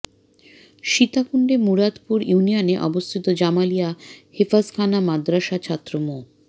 সীতাকুন্ডে মুরাদপুর ইউনিয়নে অবস্থিত জামালিয়া হেফজখানা মাদরাসার ছাত্র মো